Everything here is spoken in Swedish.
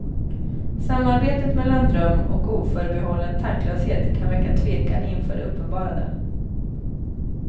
Samarbetet mellan dröm och oförbehållen tanklöshet kan väcka tvekan inför det uppenbarade.